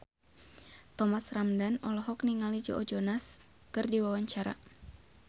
Thomas Ramdhan olohok ningali Joe Jonas keur diwawancara